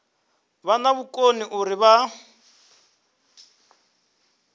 vha na vhukoni uri vha